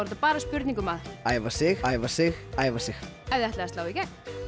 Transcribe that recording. bara spurning um að æfa sig æfa sig æfa sig ef þið ætlið að slá í gegn